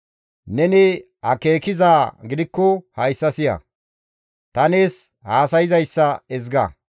Neni akeekizaa gidikko hayssa siya; ta nees haasayzayssa ezga.